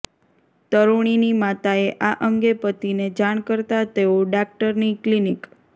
તરૃણીની માતાએ આ અંગે પતિને જાણ કરતાં તેઓ ડાક્ટરની ક્લિનિક